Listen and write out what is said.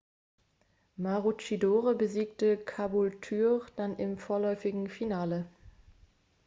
maroochydore besiegte caboolture dann im vorläufigen finale